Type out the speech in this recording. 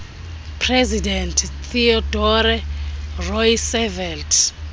president theodore roosevelt